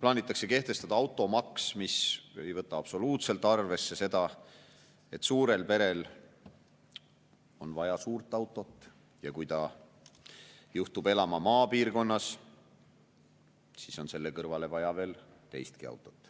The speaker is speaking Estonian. plaanitakse kehtestada automaks, mis ei võta absoluutselt arvesse seda, et suurel perel on vaja suurt autot, ja kui pere juhtub elama maapiirkonnas, siis on selle kõrvale vaja veel teistki autot.